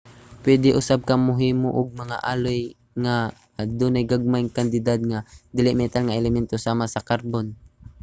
puede usab ka mohimo og mga alloy nga adunay gagmayng kantidad sa mga dili-metal nga elemento sama sa karbon